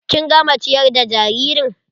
Kin gama ciyar da jaririn?